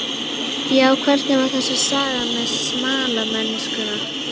Já, hvernig var þessi saga með smalamennskuna?